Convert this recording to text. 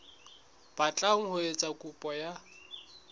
batlang ho etsa kopo ya